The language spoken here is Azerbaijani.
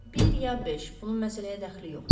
Bir ya beş, bunun məsələyə dəxli yoxdur.